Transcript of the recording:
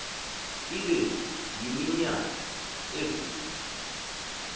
ibe yiminyaka evule